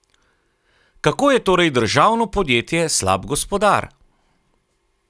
Kako je torej državno podjetje slab gospodar?